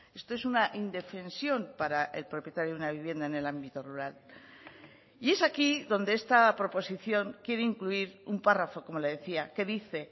esto es una indefensión para el propietario de una vivienda en el ámbito rural y es aquí donde esta proposición quiere incluir un párrafo como le decía que dice